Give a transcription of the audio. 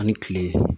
Ani kile